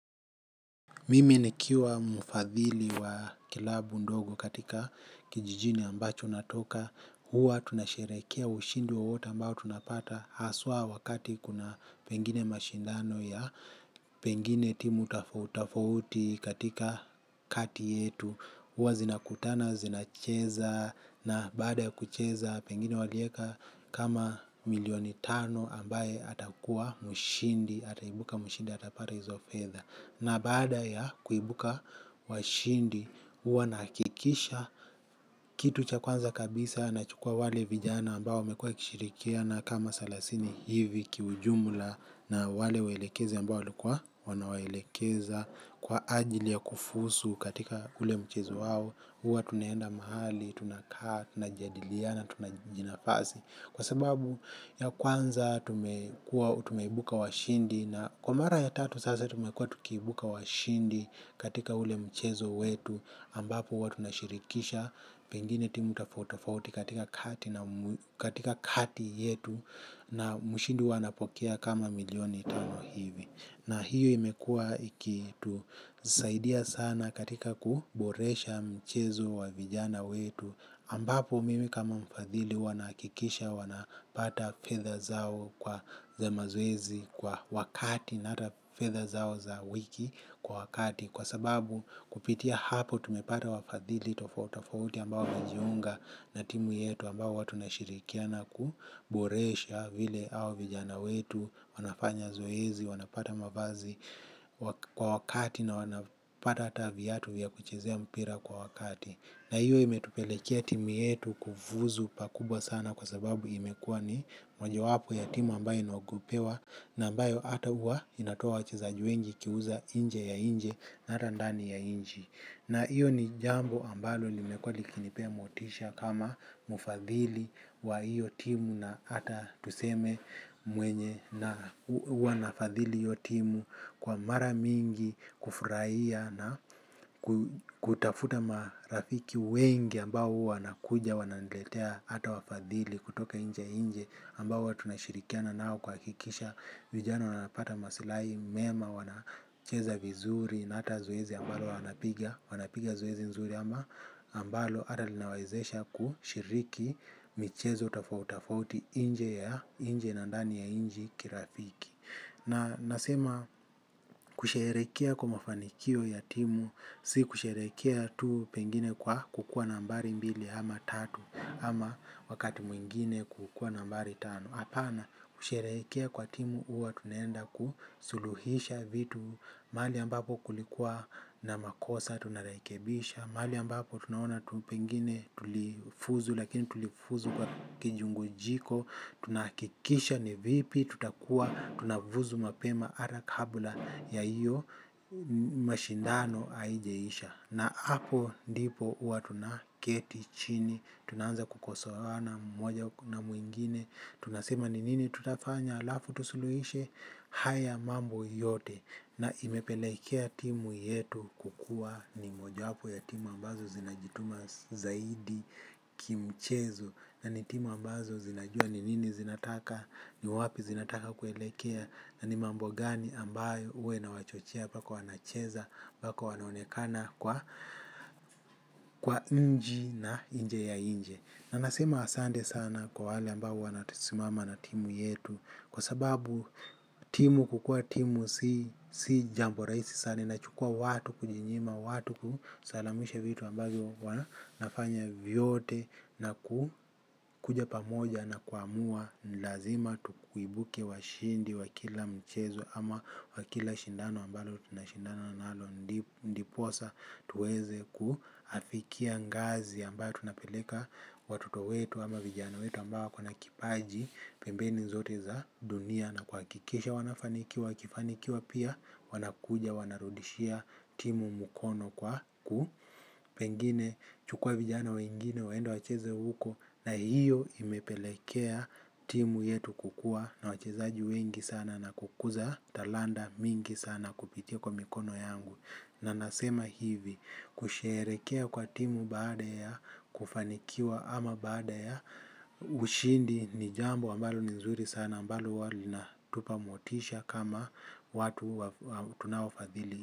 Mimi nikiwa mfadhili wa kilabu ndogo katika kijijini ambacho natoka. Huwa tunasherehekea ushindi wowote ambao tunapata haswa wakati kuna pengine mashindano ya pengine timu utafauti katika kati yetu. Huwa zinakutana, zinacheza na baada kucheza pengine waliweka kama milioni tano ambaye atakuwa mshindi, ataibuka mshindi, atapata hizo fedha. Na baada ya kuibuka washindi. Huwa nahakikisha kitu cha kwanza kabisa nachukua wale vijana ambao wamekua wakishirikiana kama thelathini hivi kiujumla na wale waelekezi ambao walikuwa wanawaelekeza kwa ajili ya kufuzu katika ule mchizo wao. Huwa tunaenda mahali, tunakaa, tunajadiliana tunajinafasi kwa sababu ya kwanza tumekuwa tumeibuka washindi na kwa mara ya tatu sasa tumekua tukiibuka washindi katika ule mchezo wetu ambapo huwa tunashirikisha pengine timu tofautitofauti katika kati yetu na mshindi huwa anapokea kama milioni tano hivi. Na hiyo imekua ikitusaidia sana katika kuboresha mchezo wa vijana wetu ambapo mimi kama mfadhili huwa nahakikisha wanapata fedha zao kwa za mazoezi kwa wakati. Na hata fedha zao za wiki kwa wakati. Kwa sababu kupitia hapo tumepata wafadhili tofautitofauti ambao wanajiunga na timu yetu ambayo huwa tunashirikiana kuburesha vile hawa vijana wetu, wanafanya zoezi, wanapata mavazi kwa wakati na wanapata hata viatu vya kuchezea mpira kwa wakati. Na hiyo imetupelekea timu yetu kufuzu pakubwa sana kwa sababu imekua ni mojo wapo ya timu ambayo inogopewa na ambayo hata huwa inatoa wachiezaji wengi ikiuza inje ya nchi na hata ndani ya nchi. Na hiyo ni jambo ambalo limekuwa likinipea motisha kama mfadhili wa hiyo timu na hata tuseme mwenye na huwa nafadhili hiyo timu kwa mara mingi, kufurahia na kutafuta marafiki wengi ambao huwa wanakuja wananiletea hata wafadhili kutoka nje nchi ambao huwa tunashirikiana nao kuhakikisha. Vijana wanapata masilahi mema wanacheza vizuri na hata zoezi ambalo wanapiga. Wanapiga zoezi nzuri ama ambalo hata linawaezesha kushiriki michezo tofautitofauti nje ya nje na ndani ya nchi kirafiki. Na nasema kusherehekea kwa mafanikio ya timu, si kusherehekea tu pengine kwa kukua nambari mbili ama tatu ama wakati mwingine kukua nambari tano. Hapana kushereheke kwa timu huwa tunenda kusuluhisha vitu. Mahali ambapo kulikuwa na makosa tunarekebisha. Mahali ambapo tunaona tu pengine tulifuzu lakini tulifuzu kwa kijungujiko. Tunahakikisha ni vipi tutakuwa tunafuzu mapema hata kabla ya hiyo mashindano haijaisha. Na hapo ndipo huwa tunaketi chini. Tunaanza kukosoana moja na mwingine. Tunasema ni nini tutafanya halafu tusuluhishe haya mambo yote. Na imepelekea timu yetu kukua ni moja wapo ya timu ambazo zinajituma zaidi kimchezo. Na ni timu ambazo zinajua ni nini zinataka. Ni wapi zinataka kuelekea. Na ni mambo gani ambayo huwa inawachochea mpaka wanacheza mpaka wanaonekana kwa kwa nchi na nje ya nchi. Na nasema asante sana kwa wale ambao huwa wanasimama na timu yetu. Kwa sababu timu kukua timu si jambo rahisi sana inachukua watu kujinyima, watu kusalamisha vitu ambazo wanafanya vyote. Na kuja pamoja na kuamua lazima tuibuke washindi wa kila mchezo ama wa kila shindano ambalo tunashindano nalo ndiposa tuweze kuafikia ngazi ambayo tunapeleka watoto wetu ama vijana wetu ambao wako na kipaji pembeni zote za dunia na kuhakikisha wanafanikiwa wakifanikiwa pia wanakuja wanarudishia timu mkono kwa ku pengine chukua vijana wengine waende wacheze huko na hiyo imepelekea timu yetu kukua na wachezaji wengi sana na kukuza talanta mingi sana kupitia kwa mikono yangu. Na nasema hivi, kusherehekea kwa timu baada ya, kufanikiwa ama baada ya, ushindi ni jambo ambalo nzuri sana, ambalo huwa linatupa motisha kama watu tunaofadhili.